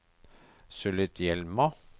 Sulitjelma